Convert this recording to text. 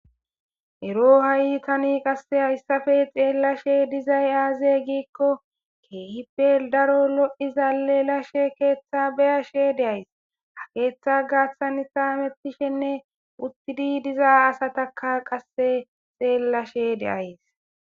Ero Tani ha'i haysappe xelashe dizaysi aze gikko kehi daroppe lo'iza lelashe ketha beyashe de'aysi ketha gathan hamutashene uttadi diza asataka beyashe de'aysi.